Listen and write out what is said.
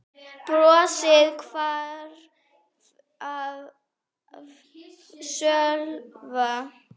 Brosið hvarf af Sölva.